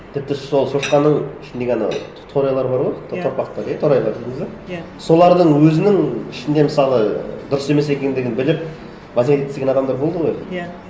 тіпті сол шошқаның ішіндегі анау торайлар бар ғой торпақтар торайлар дейміз бе иә солардың өзінің ішінде мысалы дұрыс емес екендігін біліп базаға кеткісі келген адамдар болды ғой иә